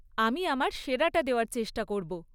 আমি আমার সেরাটা দেওয়ার চেষ্টা করব।